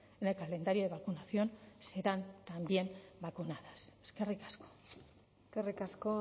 en el calendario de vacunación serán también vacunadas eskerrik asko eskerrik asko